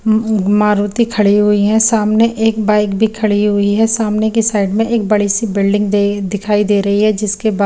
उ हुम्म मारुती खड़ी हुयी हे सामने एक बाइक भी खड़ी हुई हे सामने की साइड में एक बड़ी सी बिल्डिंग दे दिखाई दे रही हे जिसके बाद--